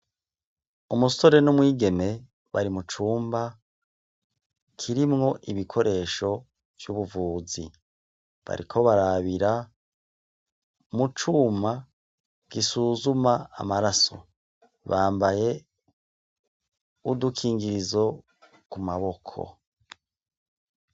Umusore n'umwigeme bari mucumba kirimwo ibikoresho vy'ubuvuzi. Bariko barabira mu cuma gisuzuma amaraso, bambaye udu kingirizo ku maboko.